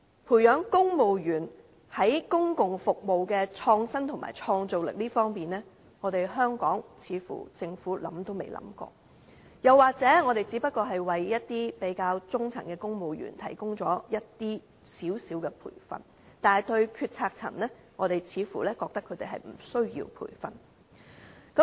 培養公務員在公共服務的創新和創造力方面，香港政府似乎想也未想過，或者我們只為中層公務員提供少許培訓，但對於決策層，我們似乎覺得他們無須培訓。